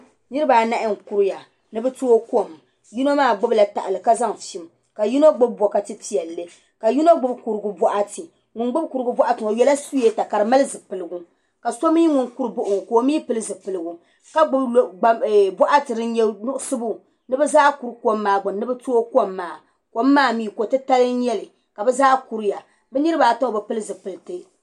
Niraba anahi n kuriya ni bi tooi kom yino maa gbubila tahali ka zaŋ fim ka yino gbubi bokati piɛlli ka yino gbubi kurigu boɣati ŋun gbubi kurigu boɣati maa o yɛla suyeeta ka di mali zipiligu ka so mii ŋun kuri baɣa o ŋo ka o mii pili zipiligu ka gbubi boɣati din nyɛ nuɣso ni bi zaa kuri kom maa gbuni ni bi tooi kom maa kom maa mii ko titali n nyɛli ka bi zaa kuriya bi niraba ata ŋo mii bi pili zipiliti